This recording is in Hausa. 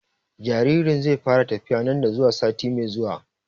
Jaririn zai fara tafiya nan da zuwa sati mai zuwa